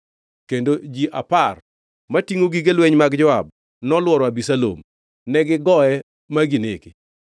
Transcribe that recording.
Kendo ji apar matingʼo gige lweny mag Joab nolworo Abisalom, negigoye, ma ginege.